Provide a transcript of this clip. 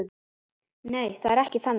Nei, það er ekki þannig.